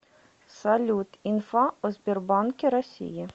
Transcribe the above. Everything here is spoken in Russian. салют инфа о сбербанке россии